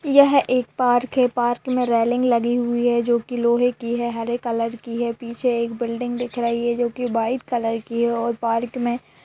ये एक पार्क है पार्क में रेलिंग लगी हुई है जोकि लोहे की है हरे कलर की है पीछे एक बिल्डिंग दिख रही है जोकि वाइट कलर की है और पार्क में--